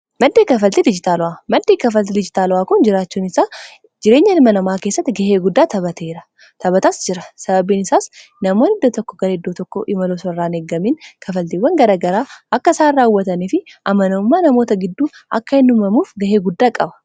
maddii kafalti dijitaalu'aa kun jiraachuun sa jireenya hilma namaa keessatti gahee guddaa tapateera taphataas jira sababiin isaas namoon idda tokko gar iddoo tokko imaloo sarraan eggamiin kafaltiiwwan garagaraa akka isaan raawwatanii fi amanammaa namoota gidduu akka hindumamuuf gahee guddaa qaba